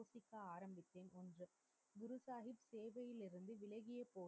ஆரம்பிக்கும் என்று குரு சாஹிப் சேவையில் இருந்து விலகிய பொழுது,